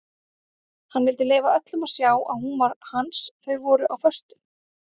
Hann vildi leyfa öllum að sjá að hún var hans þau voru á föstu.